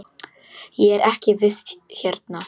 Ég er í vist hérna.